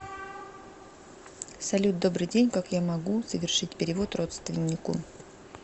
салют добрый день как я могу совершить перевод родственнику